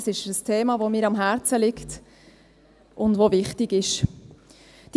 Es ist ein Thema, das mir am Herzen liegt und das wichtig ist.